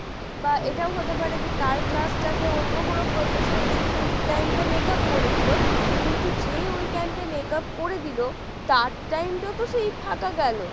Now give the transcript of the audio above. বা এটাও হতে পারে যে তার class টাতে অন্য কোন professor এসে সেই time টা makeup করে দিলো কিন্তু যে ওই time টা makeup করে দিলো তার time টা তো সেই ফাঁকা গেল।